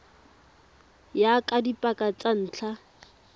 ya ka dipaka tsa ntlha